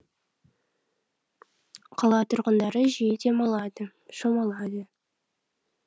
қала тұрғындары жиі демалады шомылады